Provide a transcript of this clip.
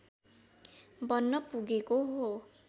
बन्न पुगेको हो